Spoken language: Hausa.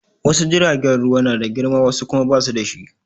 Wasu jiragen ruwa na da girma wasu kuma ba su da shi.